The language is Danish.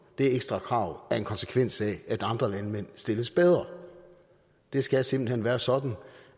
det ekstra krav er en konsekvens af at andre landmænd stilles bedre det skal simpelt hen være sådan